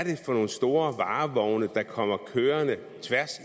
for nogle store varevogne der kommer kørende tværs